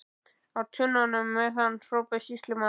Á tunnuna með hann, hrópaði sýslumaður.